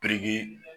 Biriki